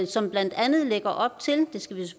som blandt andet lægger op til det skal